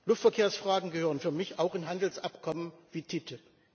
Luftverkehrsfragen gehören für mich auch in Handelsabkommen wie TTIP.